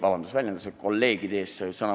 Vabandust väljenduse "kolleegid" eest!